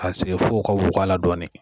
Ka sigi fo ka dɔɔnin